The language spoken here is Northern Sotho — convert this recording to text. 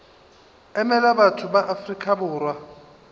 emela batho ba afrika borwa